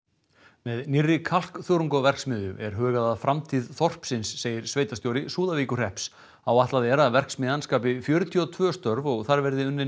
með nýrri kalkþörungaverksmiðju er hugað að framtíð þorpsins segir sveitastjóri Súðavíkurhrepps áætlað er að verksmiðjan skapi fjörutíu og tvö störf og þar verði unnin